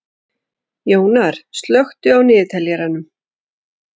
Jónar, slökktu á niðurteljaranum.